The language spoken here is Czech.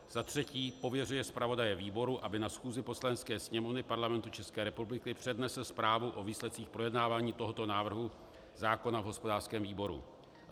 Za třetí - pověřuje zpravodaje výboru, aby na schůzi Poslanecké sněmovny Parlamentu České republiky přednesl zprávu o výsledcích projednávání tohoto návrhu zákona v hospodářském výboru.